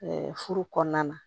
furu kɔnɔna na